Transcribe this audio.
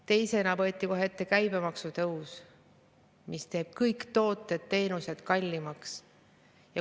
Teisena võeti kohe ette käibemaksu tõstmine, mis teeb kõik tooted ja teenused kallimaks.